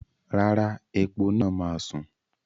Rárá, epo náà máa sùn.